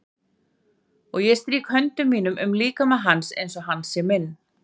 Og ég strýk höndum mínum um líkama hans einsog hann sé minn.